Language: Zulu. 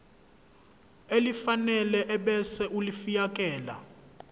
elifanele ebese ulifiakela